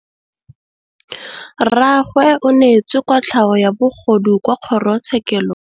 Rragwe o neetswe kotlhaô ya bogodu kwa kgoro tshêkêlông.